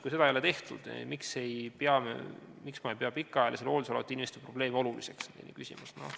Kui seda ei ole tehtud, siis miks ma ei pea pikaajalisel hooldusel olevate inimeste probleeme oluliseks?